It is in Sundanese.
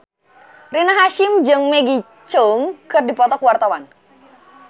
Rina Hasyim jeung Maggie Cheung keur dipoto ku wartawan